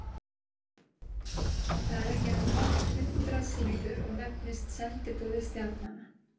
Það er ekki nema hálft hundrað síður og nefnist Sendiboði stjarnanna.